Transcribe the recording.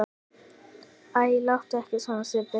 Æ, láttu ekki svona Sibbi